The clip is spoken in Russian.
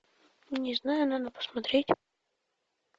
не знаю надо посмотреть